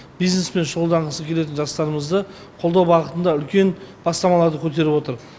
бизнеспен шұғылданғысы келетін жастарымызды қолдау бағытында үлкен бастамаларды көтеріп отыр